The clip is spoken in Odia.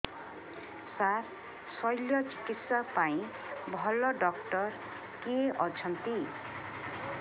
ସାର ଶଲ୍ୟଚିକିତ୍ସା ପାଇଁ ଭଲ ଡକ୍ଟର କିଏ ଅଛନ୍ତି